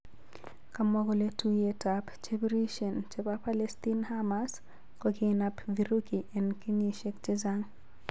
kamwa kole tuyet ap chepirishen chepo Palestine hamas kokinap virugi en keyisiek chechaang